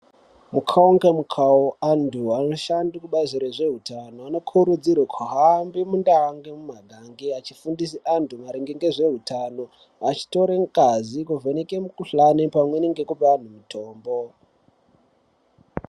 Mukawu nemukawu antu anoshanda kubazi rezvehutano Vanokurudzirwa kuhamba mumagange mumagange vachifundisa antu maringe nezvei hutano vachitora ngazi kuvheneke mukuhlani pamweni nekupe antu mitombo.